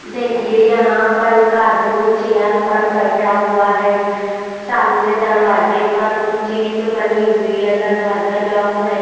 देखिए यहाँ पर एक आदमी चेयर पर बैठा हुआ है सामने दरवाजे पर कुछ चीज बनी हुई है दरवाजा लॉक है।